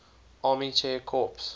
army air corps